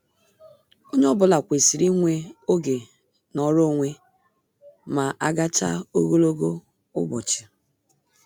Onye ọ bụla kwesịrị inwe oge nọrọ onwe ma agachaa ogologo ụbọchị.